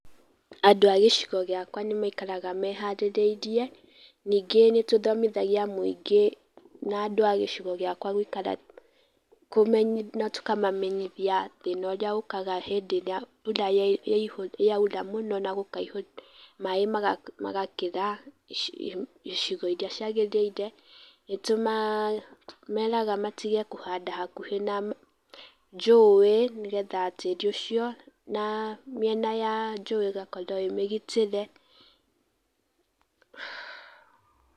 Andũ a gĩcigo gĩakwa nĩ maikaraga meharĩrĩirie, ningĩ nĩ tũthomithagia mũingĩ na andũ a gĩcigo gĩakwa gũikara, na tũkamamenyithia thĩna ũrĩa ũkaga hĩndĩ ĩrĩa mbura yaura muno na gũkaihũra maĩ magakĩra icigo iria ciagĩrĩire. Nĩ tũmeraga matige kũhanda hakuhĩ na njũĩ, nĩ getha tĩĩri ũcio na mĩena ya njuĩ ĩgakorwo ĩmĩgitĩre.